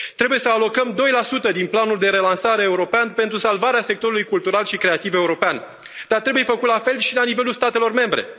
Trebuie să alocăm 2 din planul de relansare european pentru salvarea sectorului cultural și creativ european, dar trebuie făcut la fel și la nivelul statelor membre.